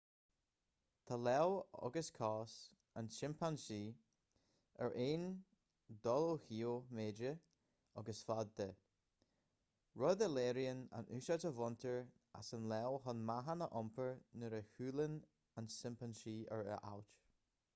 tá lámh agus cos an tsimpeansaí ar aon dul ó thaobh méide agus faid de rud a léiríonn an úsáid a bhaintear as an lámh chun meáchan a iompar nuair a shiúlann an simpeansaí ar a ailt